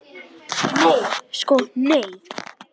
Nei sko nei.